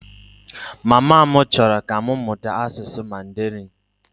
Mama m chọrọ ka m mụta asụsụ Mandarịn